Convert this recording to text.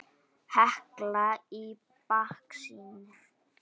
Hekla í baksýn.